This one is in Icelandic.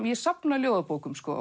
ég safna ljóðabókum sko